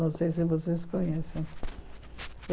Não sei se vocês conhecem.